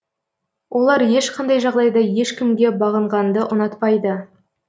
олар ешқандай жағдайда ешкімге бағынғанды ұнатпайды